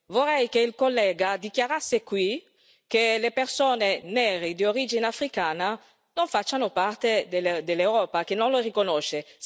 Vorrei che il collega dichiarasse qui che le persone nere di origine africana non fanno parte dell'Europa, che non lo riconosce.